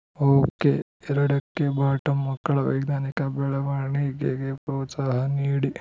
okay ಎರಡು ಕ್ಕೆ ಬಾಟಂ ಮಕ್ಕಳ ವೈಜ್ಞಾನಿಕ ಬೆಳವಣಿಗೆಗೆ ಪ್ರೋತ್ಸಾಹ ನೀಡಿ